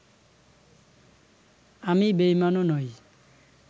আমি বেঈমানও নই